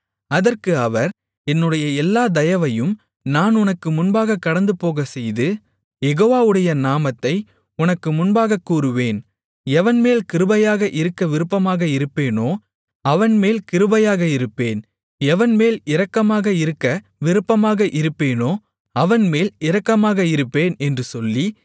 அதற்கு அவர் என்னுடைய எல்லா தயவையும் நான் உனக்கு முன்பாகக் கடந்துபோகச்செய்து யெகோவாவுடைய நாமத்தை உனக்கு முன்பாகக்கூறுவேன் எவன்மேல் கிருபையாக இருக்க விருப்பமாக இருப்பேனோ அவன்மேல் கிருபையாக இருப்பேன் எவன்மேல் இரக்கமாக இருக்க விருப்பமாக இருப்பேனோ அவன்மேல் இரக்கமாக இருப்பேன் என்று சொல்லி